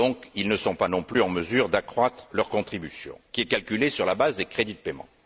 ils ne sont donc pas non plus en mesure d'accroître leur contribution, qui est calculée sur la base des crédits de paiement.